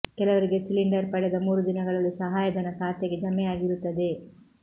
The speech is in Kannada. ಕೆಲವರಿಗೆ ಸಿಲಿಂಡರ್ ಪಡೆದ ಮೂರು ದಿನಗಳಲ್ಲಿ ಸಹಾಯಧನ ಖಾತೆಗೆ ಜಮೆ ಆಗಿರುತ್ತದೆ